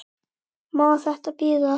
Má þetta bíða?